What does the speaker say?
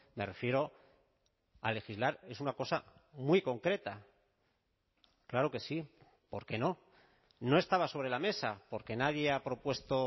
me refiero a legislar es una cosa muy concreta claro que sí por qué no no estaba sobre la mesa porque nadie ha propuesto